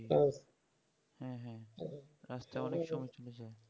হুম হুম আস্তে অনেক সমস্যা হবে